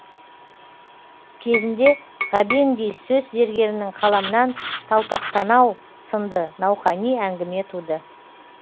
кезінде ғабеңдей сөз зергерінің қаламынан талпақ танау сынды науқани әңгіме туды